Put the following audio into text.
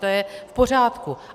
To je v pořádku.